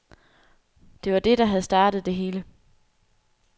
Det var det, der havde startet det hele.